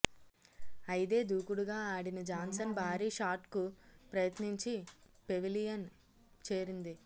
అయిదే దూకుడుగా ఆడిన జాన్సన్ భారీ షాట్కు ప్రయత్నించి పెవిలియన్ చేరింది